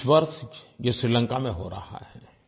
इस वर्ष ये श्रीलंका में हो रहा है